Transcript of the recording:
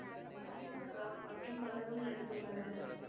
நாகேந்திர ராவ் மற்றும் பலரும் நடித்துள்ளனர்